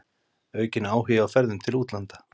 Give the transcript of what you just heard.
Aukinn áhugi á ferðum til útlanda